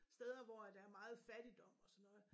Steder hvor at der er meget fattigdom og sådan noget